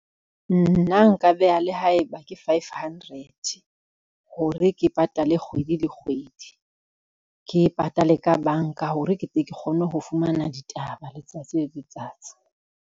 Nna nka beha le haeba ke five hundred, hore ke patale kgwedi le kgwedi, ke patale ka banka hore ke tle ke kgone ho fumana ditaba letsatsi le letsatsi.